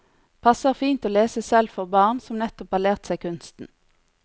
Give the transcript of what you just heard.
Passer fint å lese selv for barn som nettopp har lært seg kunsten.